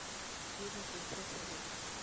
фильм принцесса лебедь